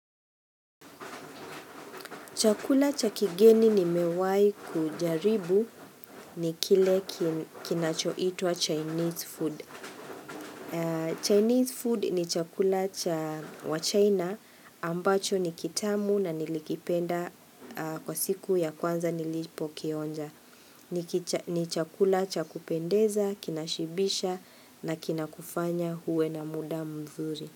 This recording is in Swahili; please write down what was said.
Chakula cha kigeni nimewahi kujaribu ni kile kinachoitwa Chinese food. Chinese food ni chakula cha wa China ambacho ni kitamu na nilikipenda kwa siku ya kwanza nilipo kionja. Ni chakula cha kupendeza, kinashibisha na kinakufanya uwe na muda mzuri.